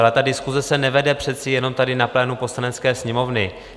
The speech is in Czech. Ale ta diskuse se nevede přece jenom tady, na plénu Poslanecké sněmovny.